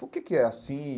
Por que que é assim?